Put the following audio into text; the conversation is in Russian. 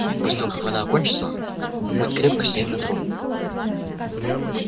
ведь после того как война кончится он будет крепко сидеть на троне